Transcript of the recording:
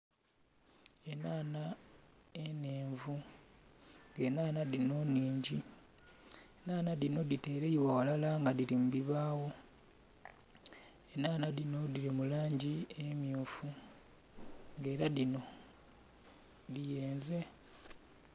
Enhanha enhenvu, nga enhanha dhino nnhingi. Enhanha dhino dhiteleibwa ghalala nga dhili mu bibaawo. Enhanha dhino dhili mu langi emmyufu. Ng'ela dhino dhiyenze.